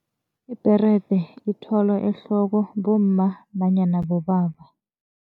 Ibherede ithwalwa ehloko bomma nanyana bobaba.